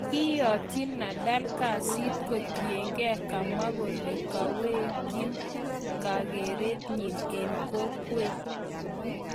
kayatyi Nadal gesiit kotiengee kamwa kolee kaweki kageret nyin en kokwet